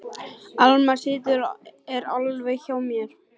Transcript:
Alma systir er alveg hjá mér.